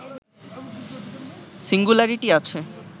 singularity আছে